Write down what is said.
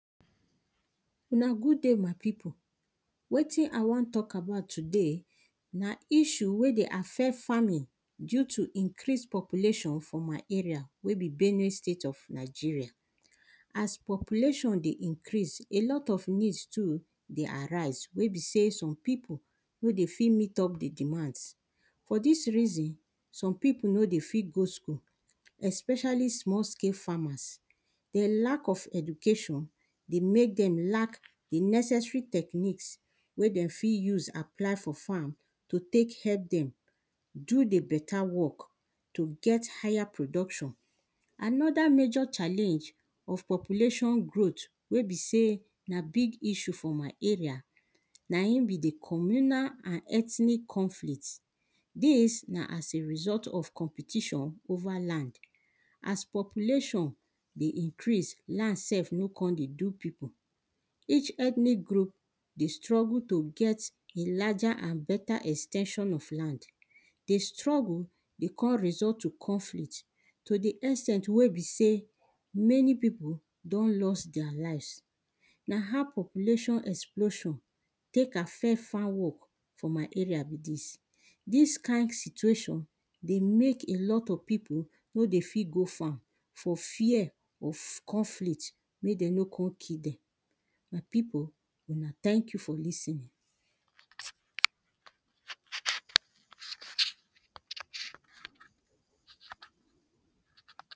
Na good day my pipu, wetin I wan tok about today, na issue wey dey affect farming due to increase population for my area wey be benue state of Nigeria. As population dey increase a lot of needs too dey arise, wey be sey, some pipu no dey fit meet up di demands. For dis reason, some pipu no dey fit go school, especially small scale farmers. Di lack of education dey mek dem lack di necessary techniques wey de fit use apply for farm, to tek help dem do di better work to get higher production. Another major challenge of population growth wey be sey na big issue for my area, na in be di communal and ethnic conflict, dis na as a result of competition over land, as population dey increase, land sef no con dey do pipu. Each ethnic group dey struggle to get larger and better ex ten sion of land. Di struggle dey con result to conflict to di ex ten t wey be sey, many pipu don loss deir lives, na how population explosion tek affect farm work for my area be dis. Dis kind situation dey mek a lot of pipu no dey fit go farm for fear of conflict mek de no con kill dem. My pipo una thank you for lis ten ing.